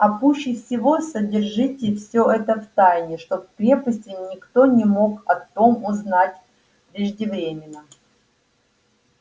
а пуще всего содержите все это в тайне чтоб в крепости никто не мог о том узнать преждевременно